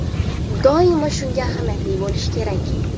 Doimo shunga ahamiyatli bo‘lish kerak.